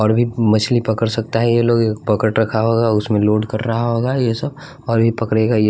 और भी मछली पकड़ सकता है ये लोग पकड़ रखा होगा उसमें लोड कर रहा होगा ये सब और भी पकरेगा --